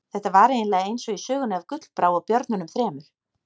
Þetta var eiginlega eins og í sögunni af Gullbrá og björnunum þremur.